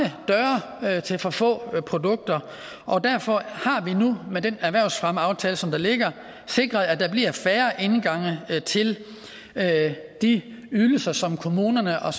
der er til for få produkter og derfor har vi nu med den erhvervsfremmeaftale som der ligger sikret at der bliver færre indgange til de ydelser som kommunerne og